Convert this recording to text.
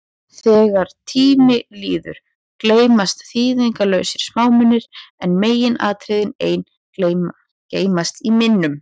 Þegar tími líður, gleymast þýðingarlausir smámunir, en meginatriðin ein geymast í minnum.